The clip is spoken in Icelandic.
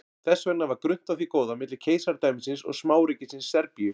þess vegna var grunnt á því góða milli keisaradæmisins og smáríkisins serbíu